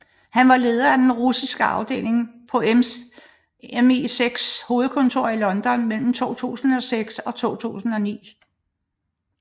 Han var leder af den russiske afdeling på MI6s hovedkvarter i London mellem 2006 og 2009